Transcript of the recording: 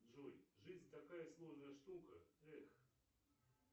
джой жизнь такая сложная штука эх